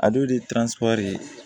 A don de ye ye